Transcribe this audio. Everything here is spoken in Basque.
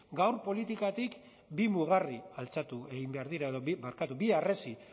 gaur politikatik bi mugarri altxatu egin behar dira barkatu bi harresi